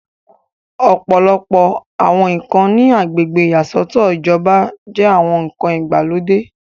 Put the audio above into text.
ọ̀pọ̀lọpọ̀ àwọn ǹkan ní agbègbè ìyàsọ́tọ̀ ìjọba jẹ́ àwọn ǹkan ìgbàlódé